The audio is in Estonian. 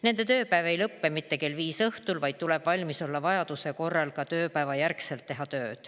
Nende tööpäev ei lõpe mitte kell viis õhtul, vaid tuleb valmis olla vajaduse korral ka tööpäeva järel tööd teha.